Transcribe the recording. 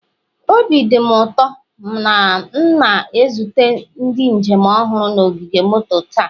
Obi dị m ụtọ na m na-ezute ndị njem ọhụrụ na ogige moto taa.